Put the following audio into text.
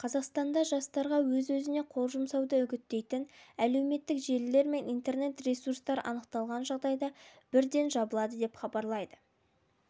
қазақстанда жастарға өз-өзіне қол жұмсауды үгіттейтін әлеуметтік желілер мен интернет-ресурстар анықталған жағдайда бірден жабылады деп хабарлайды